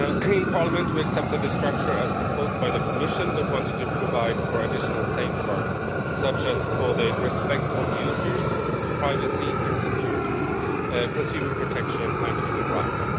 In Parliament we accepted the structure as proposed by the Commission but wanted to provide for additional safeguards, such as for the respect of users' privacy and security, consumer protection and human rights.